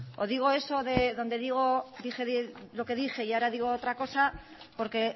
o digo eso de donde digo dije lo que dije y ahora digo otra cosa porque